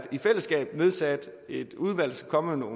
altså ikke kommet noget